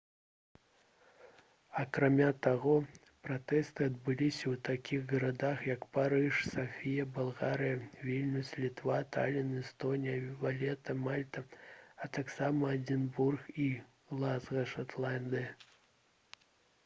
акрамя таго пратэсты адбыліся ў такіх гарадах як парыж сафія балгарыя вільнюс літва талін эстонія валета мальта а таксама эдзінбург і глазга шатландыя